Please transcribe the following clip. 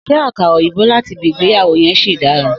Sé àkàrà òyìnbó láti ibi ìgbéyàwó yen sì dára?